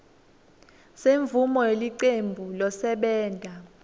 semvumo yelicembu losebenta